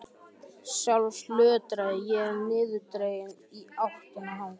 Sjálf lötraði ég niðurdregin í áttina þangað.